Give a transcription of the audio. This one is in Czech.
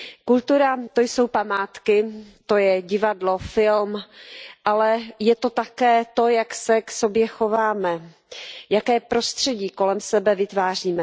Kultura, to jsou památky, to je divadlo, film, ale je to také to, jak se k sobě chováme, jaké prostředí kolem sebe vytváříme.